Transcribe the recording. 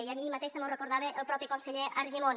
i ahir mateix també ho recordava el propi conseller argimon